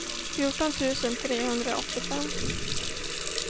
fjorton tusen trehundraåttiofem